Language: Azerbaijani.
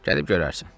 Gedib görərsən.